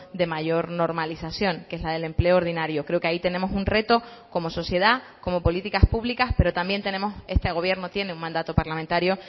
de mayor normalización que es la del empleo ordinario creo que ahí tenemos un reto como sociedad como políticas públicas pero también tenemos este gobierno tiene un mandato parlamentario